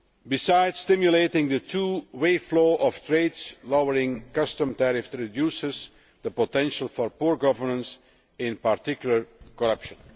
Besides stimulating the two way flow of trade, lowering customs tariffs reduces the potential for poor governance, in particular corruption.